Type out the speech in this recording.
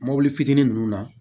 Mɔbili fitinin nunnu na